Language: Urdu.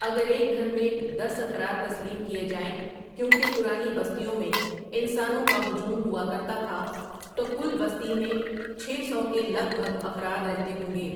اگر ایک گھر میں دس افراد تسلیم کیے جائیں کیوں کہ پرانی بستیوں میں انسانوں کا ہجوم ہوا کرتا تھا تو کل بستی میں چھ سو کے لگ بھگ افراد رہتے ہوں گے۔